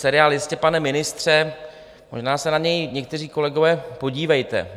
Seriál Jistě, pane ministře - možná se na něj, někteří kolegové, podívejte.